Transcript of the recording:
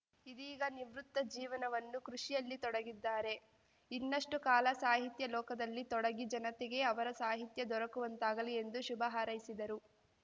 ಇದೀಗ ನಿವೃತ್ತ ಜೀವನವನ್ನು ಕೃಷಿಯಲ್ಲಿ ತೊಡಗಿದ್ದಾರೆ ಇನ್ನಷ್ಟುಕಾಲ ಸಾಹಿತ್ಯ ಲೋಕದಲ್ಲಿ ತೊಡಗಿ ಜನತೆಗೆ ಅವರ ಸಾಹಿತ್ಯ ದೊರಕುವಂತಾಗಲಿ ಎಂದು ಶುಭ ಹಾರೈಸಿದರು